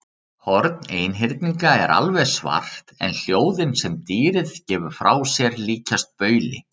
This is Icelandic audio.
Horn einhyrninga er alveg svart en hljóðin sem dýrið gefur frá sér líkjast bauli.